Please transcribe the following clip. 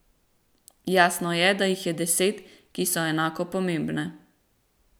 Jasno je, da jih je deset, ki so enako pomembne.